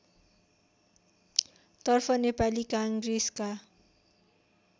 तर्फ नेपाली काङ्ग्रेसका